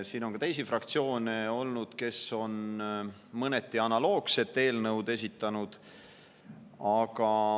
Siin on ka teisi fraktsioone olnud, kes on mõneti analoogse eelnõu esitanud.